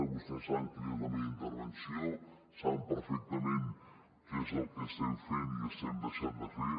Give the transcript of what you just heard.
vostès saben quina és la meva intervenció saben perfectament què és el que estem fent i estem deixant de fer